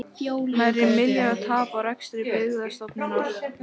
Nærri milljarðs tap á rekstri Byggðastofnunar